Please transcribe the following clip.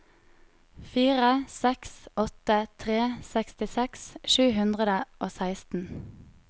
fire seks åtte tre sekstiseks sju hundre og seksten